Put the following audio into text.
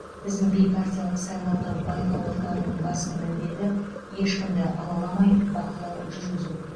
біздің бейпартиялық сайлауды байқау орталығының басты міндеті ешкімді алаламай бақылау жүргізу